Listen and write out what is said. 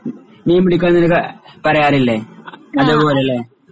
മീൻ പിടിക്കുകാന്നൊരു കാ പറയാറില്ലേ അതേപോലെ അല്ലേ?